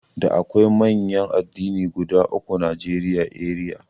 Da akwai manyan addinai guda uku a Najeriya eriya.